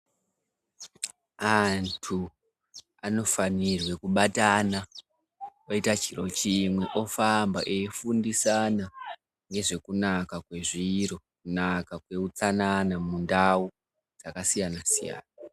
Antu anofanirwa kubata oita chiro chimwe ofamba oyifundisana nezve kunaka kwezviro kunaka kwe utsanana mundau dzakasiyana siyana.